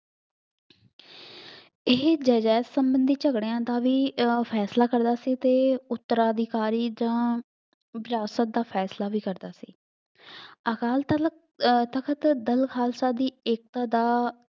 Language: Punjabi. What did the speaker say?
ਇਹੀ ਜਾਇਦਾਦ ਸੰਬੰਧੀ ਝਗੜਿਆਂ ਦਾ ਵੀ ਅਹ ਫੈਸਲਾ ਕਰਦਾ ਸੀ ਅਤੇ ਉੱਤਰਾਧਿਕਾਰੀ ਤਾਂ ਵਿਰਾਸਤ ਦਾ ਫੈਸਲਾ ਵੀ ਕਰਦਾ ਸੀ। ਅਕਾਲ ਤਲਕ ਅਹ ਤਖਤ ਦਲ ਖਾਲਸਾ ਦੀ ਏਕਤਾ ਦਾ